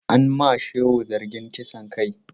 An ma Shehu zargin kisan kai.